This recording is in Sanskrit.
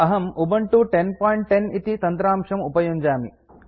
अहम् उबुन्तु 1010 इति तन्त्रांशम् उपयुञ्जामि